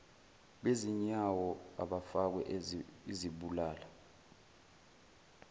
bezinyawo abafakwe izibulala